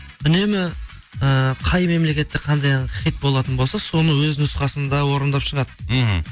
үнемі ііі қай мемлекетте қандай ән хит болатын болса соны өз нұсқасында орындап шығады мхм